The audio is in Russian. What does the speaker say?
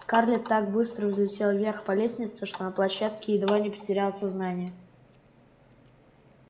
скарлетт так быстро взлетела вверх по лестнице что на площадке едва не потеряла сознание